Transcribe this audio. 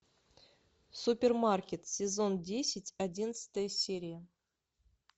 супермаркет сезон десять одиннадцатая серия